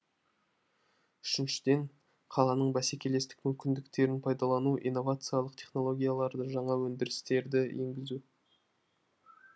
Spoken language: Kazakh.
үшіншіден қаланың бәсекелестік мүмкіндіктерін пайдалану инновациялық технологияларды жаңа өндірістерді енгізу